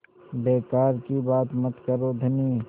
बेकार की बात मत करो धनी